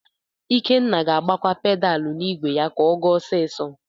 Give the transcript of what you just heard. Ikenna ga-agbakwa pedalu n'igwe ya ka ọ gaa ọsisọ.